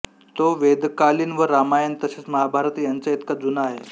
तो वेदकालिन व रामायण तसेच महाभारत यांच्याइतका जूना आहे